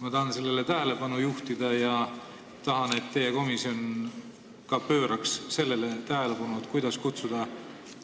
Ma tahan sellele tähelepanu juhtida ja tahan, et ka teie komisjon pööraks sellele tähelepanu, kuidas kutsuda